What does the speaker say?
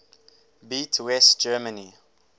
beat west germany